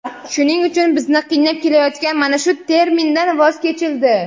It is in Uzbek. Shuning uchun bizni qiynab kelayotgan mana shu termindan voz kechildi.